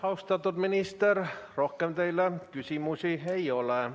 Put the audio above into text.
Austatud minister, rohkem teile küsimusi ei ole.